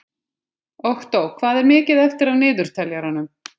Októ, hvað er mikið eftir af niðurteljaranum?